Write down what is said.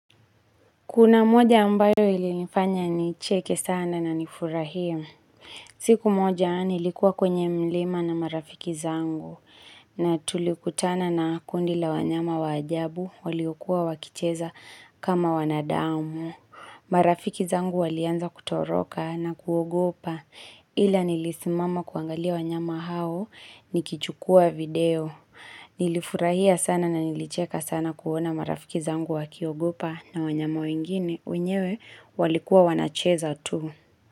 Kuna moja ambayo ilifanya nicheke sana na nifurahie. Siku moja nilikuwa kwenye mlima na marafiki zangu. Na tulikutana na kundi la wanyama wa ajabu, waliokuwa wakicheza kama wanadamu. Marafiki zangu walianza kutoroka na kuogopa. Ila nilisimama kuangalia wanyama hao nikichukua video. Nilifurahia sana na nilicheka sana kuona marafiki zangu wakiogopa na wanyama wengine wenyewe walikuwa wanacheza tu.